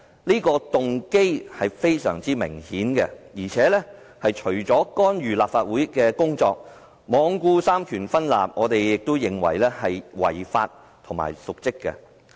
他的動機非常明顯，除了干預立法會的工作，罔顧三權分立，我們認為他這樣做也是違法和瀆職。